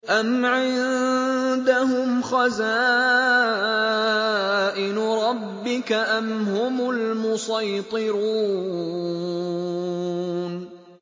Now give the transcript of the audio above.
أَمْ عِندَهُمْ خَزَائِنُ رَبِّكَ أَمْ هُمُ الْمُصَيْطِرُونَ